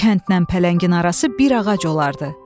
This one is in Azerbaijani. Kəndlə pələngin arası bir ağac olardı.